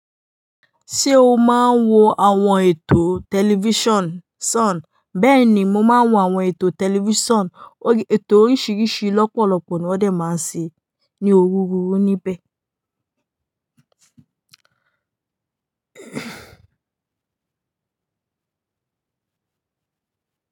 Ṣé o máa ń wo àwọn ètò tẹlifíṣàn? Bẹ́ẹ̀ ni, mo máa ń wo àwọn ètò tẹlifíṣàn. Ètò orisirisi lọ́pọ̀ lọ́pọ̀ ni wọn maa ń ṣe nibẹ òní rú rú nibẹ.